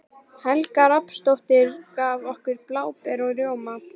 Helga Rafnsdóttir, gaf okkur bláber og rjóma.